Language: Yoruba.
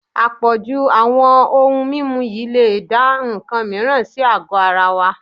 Àpọ̀jù àwọn ohun mímu yìí lè dá nǹkan mìíràn sí àgọ́ ara wa